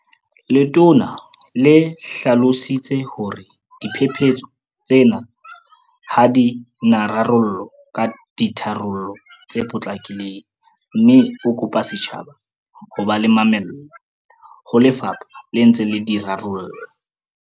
Letona le hlalositse hore diphephetso tsena ha di na rarollwa ka ditharollo tse potlakileng mme a kopa setjhaba ho ba le mamello ha lefapha le ntse le di rarolla.